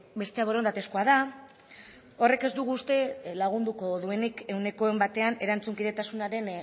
bestea borondatezkoa da horrek ez dugu uste lagunduko duenik ehuneko ehunn batean erantzunkidetasunaren